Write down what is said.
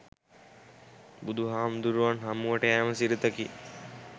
බුදුහාමුදුරුවන් හමුවට යෑම සිරිතකි.